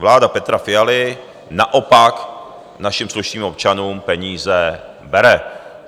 Vláda Petra Fialy naopak našim slušným občanům peníze bere.